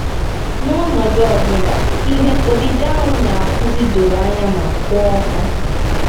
N’ọnọdụ ọ bụla, ihe odide ahụ na-akụzi doro anya ma kwụ ọtọ.